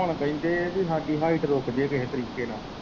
ਹੁਣ ਕਹਿੰਦੇ ਪੀ ਸਾਡੀ ਹਾਇਟ ਰੁੱਕ ਜੇ ਕਿਸੇ ਤਰੀਕੇ ਨਾਲ।